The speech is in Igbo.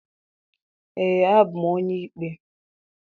Ee, abụ m onye ikpe